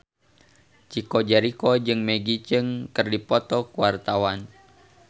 Chico Jericho jeung Maggie Cheung keur dipoto ku wartawan